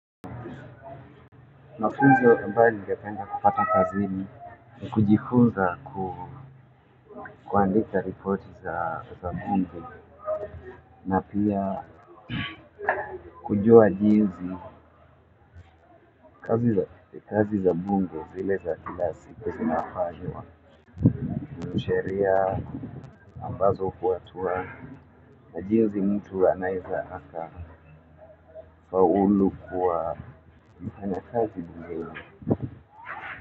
Mafunzo ambayo ningependa kupata kazini ni kujifunza kuandika ripoti za gumzo na pia kujua jinzi kazi za gumzo zile za kila siku zinafanywa. Ni sheria ambazo hufuatwa na jinzi mtu anaileza aka faulu kuwa mfanyakazi mzuri.